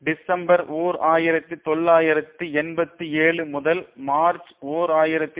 December ஓர் ஆயிரத்தி தொள்ளாயிரத்து எண்பத்தி ஏழு முதல் மார்ச் ஓர் ஆயிரத்தி